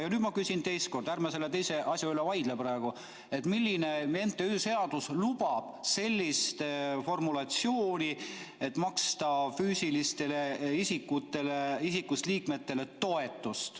Ja nüüd ma küsin teist korda – ärme selle teise asja üle vaidleme praegu –, milline MTÜ seaduse säte lubab maksta füüsilisest isikust liikmetele toetust.